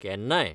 केन्नाय.